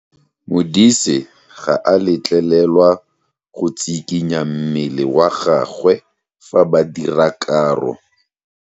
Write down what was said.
Modise ga a letlelelwa go tshikinya mmele wa gagwe fa ba dira karo.